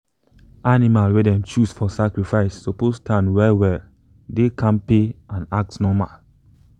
animal wey them choose for sacrifice suppose stand well well dey kampe and act normal.